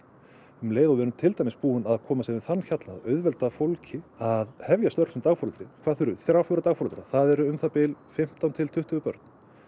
um leið og við erum til dæmis komin yfir þann hjalla að auðvelda fólki að hefja störf sem dagforeldri hvað þurfum þrjá fjóra dagforeldra það eru um það bil fimmtán til tuttugu börn